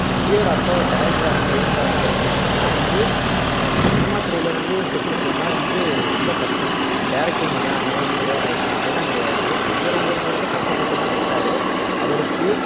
விஜயோட அப்பா ஒரு director ஆ இயக்குநரா வேணா இருக்கலாம் ஆனா வந்து இந்த சினிமா துறையில வந்து நிலைச்சு நிக்கணும்னா வந்து ரொம்ப கஷ்டம் director மகன் அதனால வந்து பெரிய ஆளா ஆயிட்டான் அதெல்லாம் கிடையாது ரொம்ப ரொம்ப ரொம்ப ரொம்ப கஷ்டப்பட்டு தான் வந்தாரு அவருக்கு